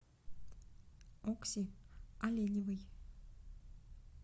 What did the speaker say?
окси оленевой